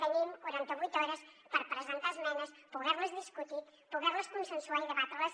tenim quarantavuit hores per presentar esmenes poderles discutir poderles consensuar i debatreles